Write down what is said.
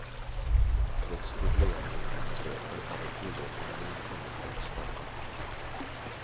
Trots problemen med brottsligheten har den fria ekonomin kommit för att stanna.